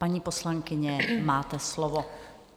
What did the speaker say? Paní poslankyně, máte slovo.